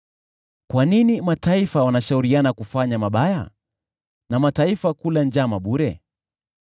Kwa nini mataifa wanashauriana kufanya mabaya, na kabila za watu kula njama bure?